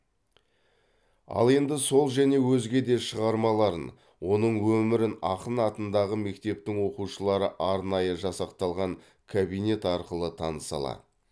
ал енді сол және өзге де шығармаларын оның өмірін ақын атындағы мектептің оқушылары арнайы жасақталған кабинет арқылы таныса алады